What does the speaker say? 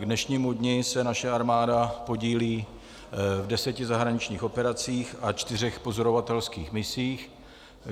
K dnešnímu dni se naše armáda podílí v deseti zahraničních operacích a čtyřech pozorovatelských misích.